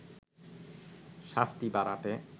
শাস্তি বাড়াতে